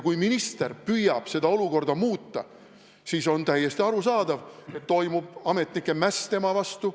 Kui minister püüab seda olukorda muuta, siis on täiesti arusaadav, et toimub ametnike mäss tema vastu.